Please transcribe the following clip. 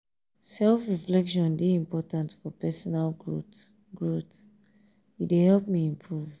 self-reflection dey important for personal growth; growth; e dey help me improve.